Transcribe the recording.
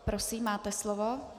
Prosím, máte slovo.